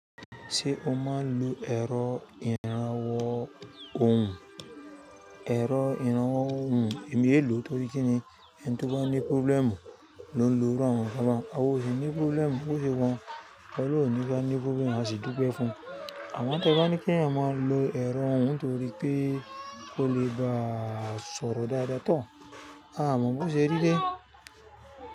Ṣé o máa ń lo ẹ̀rọ ìrànwọ́ ohùn? Ẹ̀rọ ìrànwọ́ ohùn èmi è lo torí pé kíni ẹni tí ó bá ní problem lo ń lo irú àwon nkan báun, àwọn tó ṣe ni problem bó ṣe wọ́n, ọlọ́run yóò ní kí wọ́n ní pé wọ́n máa sì dúpẹ́ fún un. Àwọn tó bá ní kí èèyàn máa lo ẹ̀rọ ohùn torí pé ó lè gba sọ̀rọ̀ dáadáa tán. A mọ̀ bó ṣe rí dé.